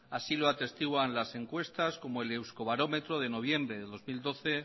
así lo atestiguan las encuestas como el euskobarametro de noviembre de dos mil doce